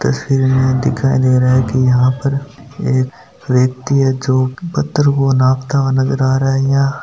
तस्वीर में दिखाई दे रहा है की यहा पर एक व्यक्ति है जो पत्थर को नापता हुआ नज़र आ रहा है यहाँ।